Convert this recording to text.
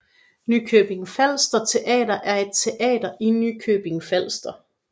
Nykøbing Falster Teater er et teater i Nykøbing Falster